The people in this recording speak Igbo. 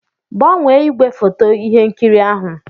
Gbanwee ígwèfoto ihe nkiri ahụ?